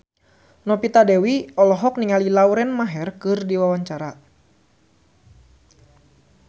Novita Dewi olohok ningali Lauren Maher keur diwawancara